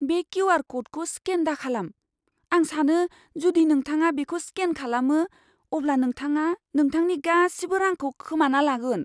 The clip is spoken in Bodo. बे किउ.आर. क'डखौ स्केन दाखालाम! आं सानो, जुदि नोंथाङा बेखौ स्केन खालामो, अब्ला नोंथाङा नोंथांनि गासिबो रांखौ खोमाना लागोन।